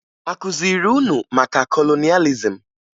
A ga-akụziri unu maka kolonịalizim?